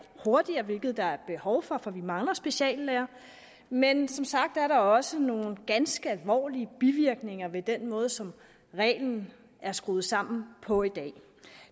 hurtigere hvilket der er behov for for vi mangler speciallæger men som sagt er der også nogle ganske alvorlige bivirkninger ved den måde som reglen er skruet sammen på i dag